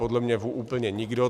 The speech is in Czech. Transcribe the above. Podle mne úplně nikdo.